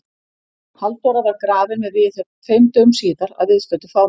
Halldóra var grafin með viðhöfn tveimur dögum síðar að viðstöddu fámenni.